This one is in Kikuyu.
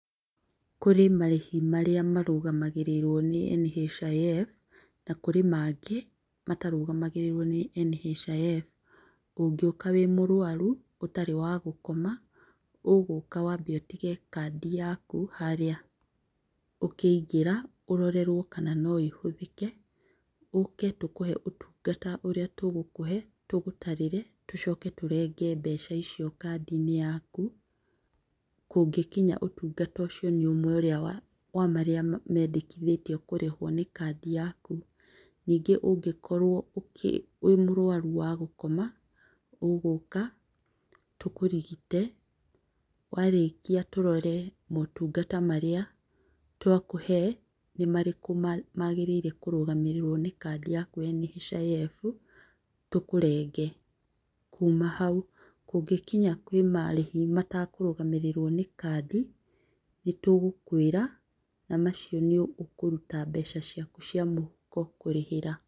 Kũrĩ marĩhi marĩa marũgamagĩrĩrwo nĩ NHIF na kũrĩ mangĩ matarũgamagĩrĩrwo nĩ NHIF. ũngĩũka wĩmũrwaru ũtarĩwagũkoma. ũgũka wambe ũtige kandi yaku harĩa ũkĩingĩra ũrorerwo kana noĩhũthĩke ũke tũkũhe ũtungata ũrĩa tũgũkũhe, tũgũtarĩre, tũcoke tũrenge mbeca icio kandi-inĩ yaku kũngĩnya ũtungata ũcio nĩũrĩa wa marĩa mendekithĩtio kũrĩhũo nĩ kandi yaku. Nyingĩ ũngĩkorwo [wĩmũrwaru wa gũkoma, ũgũka, tũkũrigite, warĩkia tũrore motungata marĩa twakũhe nĩ marĩkũ magĩrĩirwo kũrũgamĩrĩrwo nĩkandi yaku ya NHIF, tũkũrenge. Kuma hau kũngĩkinya he marĩhi matakũrũgamĩrĩrwo nĩkandi, nĩtũgũkwĩra, na macio nĩũkũruta mbeca ciaku cia mũhuko kũrĩhĩra.